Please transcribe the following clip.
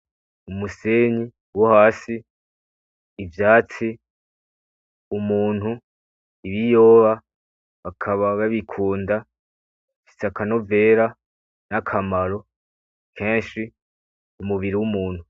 Umusenyi wo hasi, ivyatsi, umuntu, ibiyoba bakaba babikunda bifise akanovera n'akamaro kenshi mu mubiri w'umuntu.